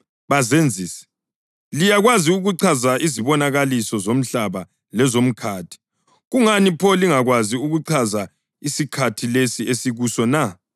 Bazenzisi! Liyakwazi ukuchaza izibonakaliso zomhlaba lezomkhathi. Kungani pho lingakwazi ukuchaza isikhathi lesi esikuso na?